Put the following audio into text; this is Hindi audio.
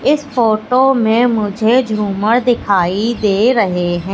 इस फोटो में मुझे झूमर दिखाई दे रहे हैं।